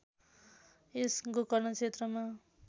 यस गोकर्ण क्षेत्रमा